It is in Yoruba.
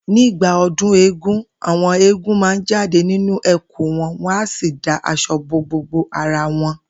Nígbà o̩dún eégún, àwo̩n eégún máa jáde nínú è̩kú wo̩n wó̩n á sì da as̩o̩ bo gbogbo ara won